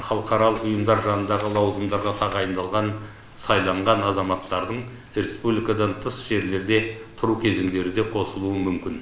халықаралық ұйымдар жанындағы лауазымдарға тағайындалған сайланған азаматтардың республикадан тыс жерлерде тұру кезеңдері де қосылуы мүмкін